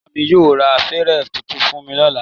Ìyá mí yóò ra fèrè tuntun fún mi ní ọ̀la